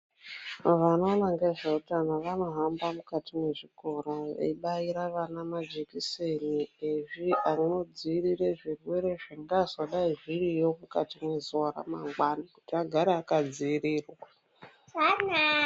Vanoona ngezvehutano vanohamba mukati mwezvikora veibairira vana majekiseni anodzivirira zvirwere zvengazi zvingadai zviriyo mukati mezuwa ramangwana kuti agare akadzivirirwa.